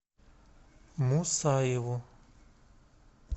мусаеву